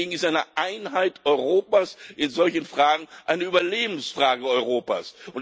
Deswegen ist eine Einheit Europas in solchen Fragen eine Überlebensfrage Europas.